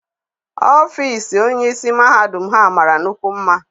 Ọfịịsi onyeisi mahadum Ha mara nnukwu mma.